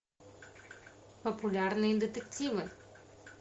популярные детективы